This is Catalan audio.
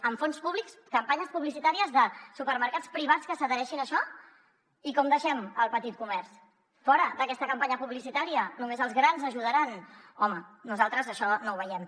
amb fons públics campanyes publicitàries de supermercats privats que s’adhereixin a això i com deixem el petit comerç fora d’aquesta campanya publicitària només als grans ajudaran home nosaltres això no ho veiem